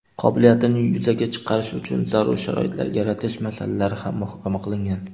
qobiliyatini yuzaga chiqarishi uchun zarur sharoitlar yaratish masalalari ham muhokama qilingan.